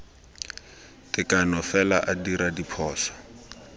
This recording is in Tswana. tekano fela a dira diphoso